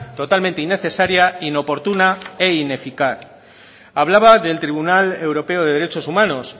totalmente innecesaria inoportuna e ineficaz hablaba del tribunal europeo de derechos humanos